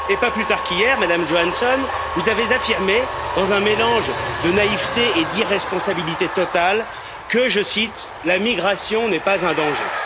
Et pas plus tard qu'hier, Madame Johansson, vous avez affirmé, dans un mélange de naïveté et d'irresponsabilité totale, que, je cite, la migration n'est pas un danger.